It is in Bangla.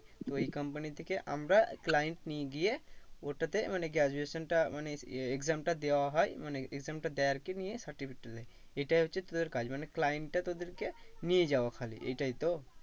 তো এই company থেকে client নিয়ে গিয়ে ওটাতে মানে graduation টা মানে exam টা দেওয়া হয় মানে exam টা দেয় আর কি নিয়ে certificate টা দেয়। এইটাই হচ্ছে তোদের কাজ মানে client টা তোদেরকে নিয়ে যাওয়া খালি এটাই তো?